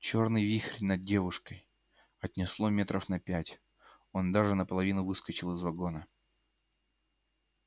чёрный вихрь над девушкой отнесло метров на пять он даже наполовину выскочил из вагона